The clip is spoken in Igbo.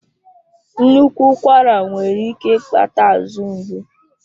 Nnukwu ụkwara nwere ike ịkpata azụ ngbu.